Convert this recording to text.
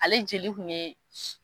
Ale jeli kun ye